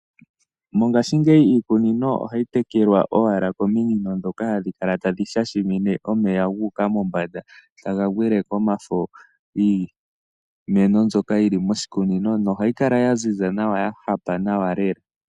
Mongashingeyi iikunino ohayi tekelwa owala komino ndhoka hadhi kala tadhi shashamine omeya gu uka mombanda taga gwile komafo giimeno mbyoka yi li moshikunino, nohayi kala ya ziza nawa, ya hapa nawa lela.